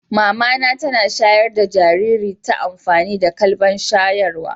Mama na tana shayar da jinjiri ta amfani da kwalban shayarwa.